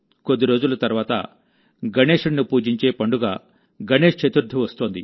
కొద్ది రోజుల తర్వాతగణేశుడిని పూజించే పండుగ గణేశ్ చతుర్థి వస్తోంది